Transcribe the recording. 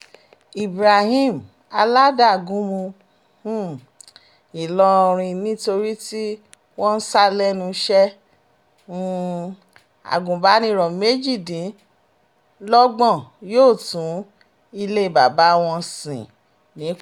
ibrahim aládagunmu um ìlọrin nítorí tí wọ́n ń sá lẹ́nu iṣẹ́ um agúnbàníró méjìdínlọ́gbọ̀n yóò tún ilé bàbá wọn sìn ní kwara